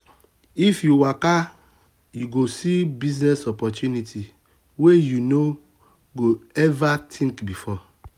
if you waka you go see business opportunity wey um you no um go ever think before.